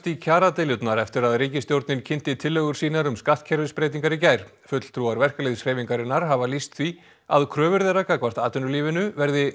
í kjaradeilurnar eftir að ríkisstjórnin kynnti tillögur sínar um skattkerfisbreytingar í gær fulltrúar verkalýðshreyfingarinnar hafa lýst því að kröfur þeirra gagnvart atvinnulífinu verði